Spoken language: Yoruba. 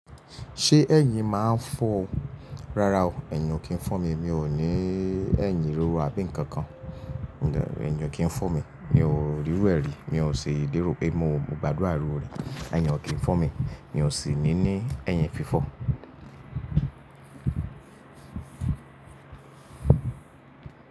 Ṣé ẹ̀yin máa ń fọ́? Rárá o, ẹ̀yin ò kí ń fọ́ mi, mi ò ní ẹ̀yin ríro àbí nǹkan kan. Ẹ̀yin ò kí ń fọ́ mi, mi ò rírú ẹ rí, mi ò ṣe ìdérò pé mo gbádùn irúre, ẹ̀yin ò kí ń fọ́ mi, mi ò sì ní ní ẹ̀yin fífọ̀.